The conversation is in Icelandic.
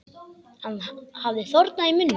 Hann hafði þornað í munni.